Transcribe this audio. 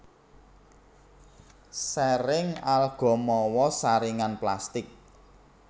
Saring alga mawa saringan plastik